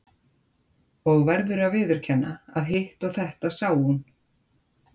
Og verður að viðurkenna að hitt og þetta sá hún.